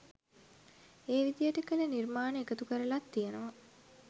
ඒ විදියට කළ නිර්මාණ එකතු කරලත් තියෙනවා.